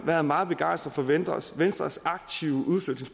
været meget begejstret for venstres venstres aktive